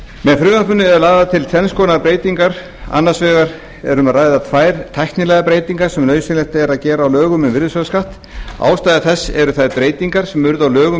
með frumvarpinu eru lagðar til tvenns konar breytingar annars vegar er um að ræða tvær tæknilegar breytingar sem nauðsynlegt er að gera á lögum um virðisaukaskatt ástæða þess eru þær breytingar sem urðu á lögum um